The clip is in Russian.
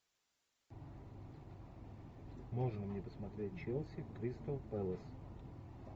можно мне посмотреть челси кристал пэлас